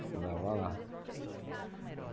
Estudava lá.